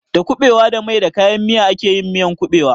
Da kuɓewa da mai da kayan miya ake miyan ƙuɓewa.